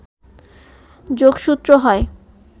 যোগসূত্র হয়